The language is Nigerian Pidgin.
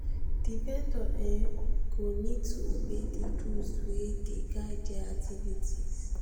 di vendor um go need to obey di rules wey dey guide their activities